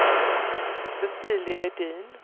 Cecilia Edin